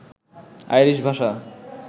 Irish ভাষা